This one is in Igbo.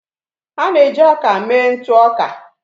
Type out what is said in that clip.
A na-eji ọka mee ntụ ọka.